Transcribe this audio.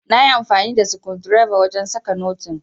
nayi amfani da skundireba wajen saka notin